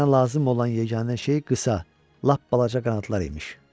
Mənə lazım olan yeganə şey qısa, lap balaca qanadlar imiş.